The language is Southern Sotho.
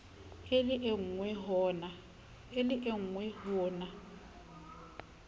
e le engwe ho na